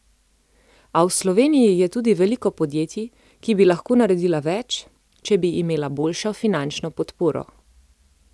A v Sloveniji je tudi veliko podjetij, ki bi lahko naredila več, če bi imela boljšo finančno podporo.